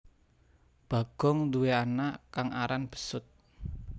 Bagong duwé anak kang aran besut